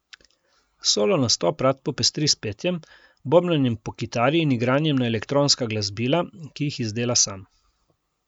Solo nastop rad popestri s petjem, bobnanjem po kitari in igranjem na elektronska glasbila, ki jih izdela sam.